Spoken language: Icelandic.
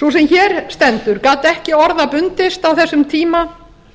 sú sem hér stendur gat ekki orða bundist á þessum tíma